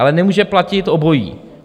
Ale nemůže platit obojí.